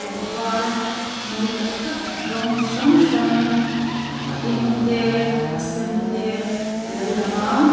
pangpar mawi tak tak rawng chi hrang hrang a eng te a sen te alo lang a.